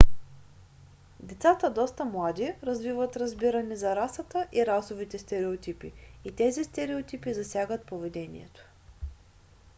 децата доста млади развиват разбиране за расата и расовите стереотипи и тези стереотипи засягат поведението